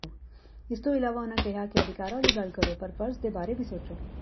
ਇਸ ਤੋਂ ਇਲਾਵਾ ਉਨ੍ਹਾਂ ਕਿਹਾ ਕਿ ਅਧਿਕਾਰਾਂ ਦੀ ਗੱਲ ਕਰੋ ਪਰ ਫਰਜ਼ ਬਾਰੇ ਵੀ ਸੋਚੋ